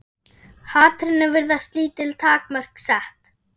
Hatrinu virðast lítil takmörk sett.